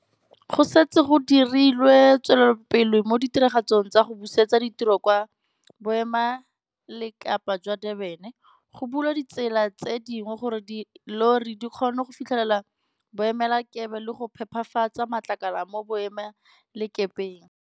Go setse go dirilwe tswelopele mo ditiragatsong tsa go busetsa ditiro kwa Boemelakepe jwa Durban. Go bulwa ditsela tse dingwe gore dillori di kgone go fitlhelela boemelakepe le go phepafatsa matlakala mo boemelakepeng.